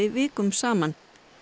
vikum saman